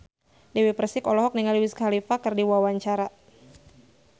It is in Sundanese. Dewi Persik olohok ningali Wiz Khalifa keur diwawancara